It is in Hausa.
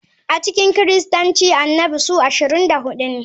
A cikin Kiristanci Annabi suna 24.